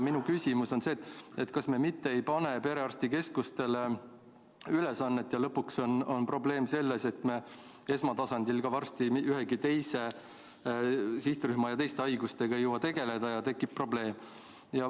Minu küsimus on see, et kas me mitte ei pane perearstikeskustele ülesannet, nii et lõpuks on probleem selles, et me ka esmatasandil varsti ühegi teise sihtrühma ja teiste haigustega ei jõua tegeleda ja tekib probleem.